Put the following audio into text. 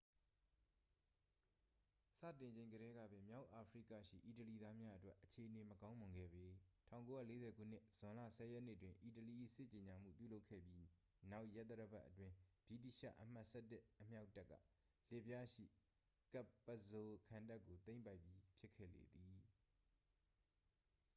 စတင်ချိန်ကတည်းကပင် မြောက်အာဖရိကရှိ အီတလီသားများအတွက် အခြေအနေမကောင်းမွန်ခဲ့ပေ 1940 ခုနှစ် ဇွန်လ 10 ရက်နေ့တွင် အီတလီ၏ စစ်ကြေညာမှုပြုလုပ်ခဲ့ပြီးနောက် ရက်သတ္တပတ်အတွင်း ဗြိတိသျှ အမှတ် 11 အမြောက်တပ်က လစ်ဗျားရှိ capuzzo ခံတပ်ကို သိမ်းပိုက်ပြီးဖြစ်ခဲ့လေသည်